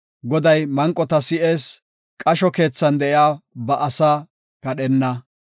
Goday manqota si7ees; qasho keethan de7iya ba asaa kadhenna.